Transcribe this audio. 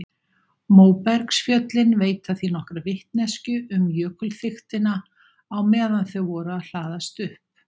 Móbergsfjöllin veita því nokkra vitneskju um jökulþykktina á meðan þau voru að hlaðast upp.